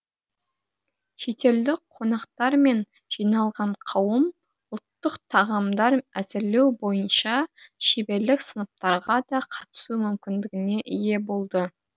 шетелдік қонақтар мен жиналған қауым ұлттық тағамдар әзірлеу бойынша шеберлік сыныптарға да қатысу мүмкіндігіне ие болды